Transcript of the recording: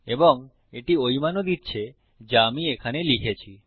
এবং এটি ওই মানও দিচ্ছে যা আমি এখানে লিখেছি